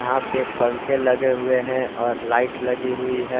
यहां पे पंखे लगे हुए हैं और लाइट लगी हुई है।